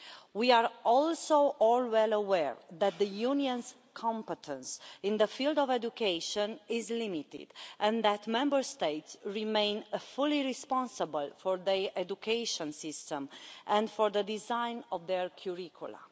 We are also all well aware that the Union's competence in the field of education is limited and that Member States remain fully responsible for their education systems and for the design of their curricula.